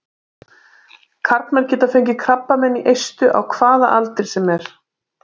Karlmenn geta fengið krabbamein í eistu á hvaða aldri sem er.